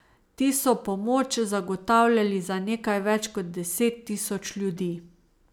Ti so pomoč zagotavljali za nekaj več kot deset tisoč ljudi.